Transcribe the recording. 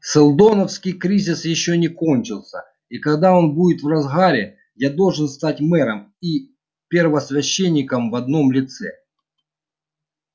сэлдоновский кризис ещё не кончился и когда он будет в разгаре я должен стать мэром и первосвященником в одном лице